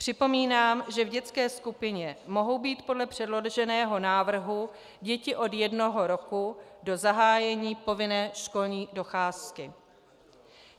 Připomínám, že v dětské skupině mohou být podle předloženého návrhu děti od jednoho roku do zahájení povinné školní docházky.